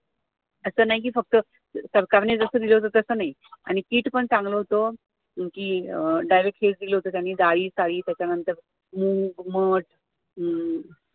असं नाही कि फक्त सरकारने जसं दिल होतं तसं नाही आणि kit पण चांगलं होत कि डाळीसहीत दिल होत त्यांनी दाळी, , त्याच्यानंतर मीठ, मध